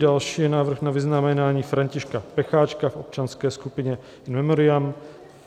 Další je návrh na vyznamenání Františka Pecháčka v občanské skupině, in memoriam.